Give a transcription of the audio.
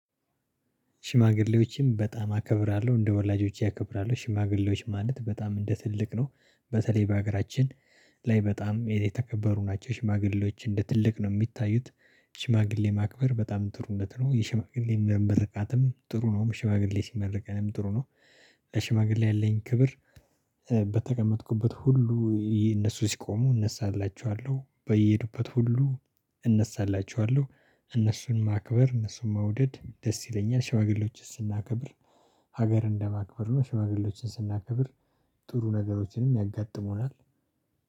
ሽማግሌዎችም በጣም አከብራለሁ እንደ ወላጆቼ አከብራለሁ ሽማግሌዎች ማለት በጣም እንደ ትልቅ ነው በተለይ በሀገራችን ላይ በጣም የተከበሩ ናቸው ሽማግሌዎች እንደ ትልቅ ነው የሚታዩት ሽማግሌ ማክበር በጣም ጥሩነት ነው። የሽማግሌ ምርቃትም ጥሩ ነው ሽማግሌ ሲመርቀንም ጥሩ ነው። ሽማግሌ ያለኝ ክብር። በተቀመጥኩበት ሁሉ እነሱ ሲቆሙ እነሳላችኋለሁ በየሄዱበት ሁሉ እነሳላችኋለሁ። እነሱን ማክበር እነሱን መውደድ ደስ ይለኛል። ሽማግሌዎችን ስናከብር ሀገር እንደማክበር ነው። ሽማግሌዎችን ስናከብር ጥሩ ነገሮችንም ያጋጥሙናል።